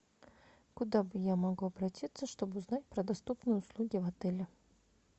куда я могу обратиться чтобы узнать про доступные услуги в отеле